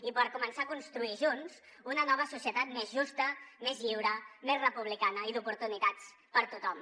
i per començar a construir junts una nova societat més justa més lliure més republicana i d’oportunitats per tothom